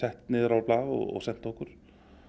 sett niður á blað og sent okkur